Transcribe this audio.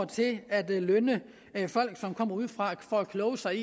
til at lønne folk som kommer udefra for at kloge sig